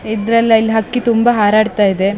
ಇದ್ರಲ್ಲಿ ಅಲ್ಲಿ ಹಕ್ಕಿ ತುಂಬಾ ಹಾರಾಡ್ತ್ತಇದೆ.